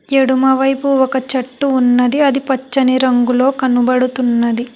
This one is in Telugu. ఎడమ వైపు ఒక చెట్టు ఉన్నది అది పచ్చని రంగులో కనబడుతున్నది.